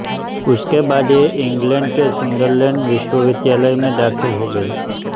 उसके बाद यें इंग्लैंड के सुंदरलैंड विश्वविद्यालय में दाख़िल हो गईं